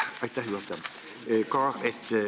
Aitäh, juhataja!